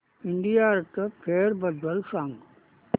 India art fair बद्दल सांग